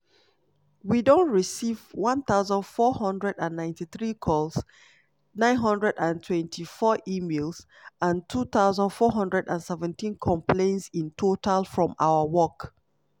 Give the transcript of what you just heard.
"we don receive 1493 calls 924 emails and 2417 complaints in total from our work.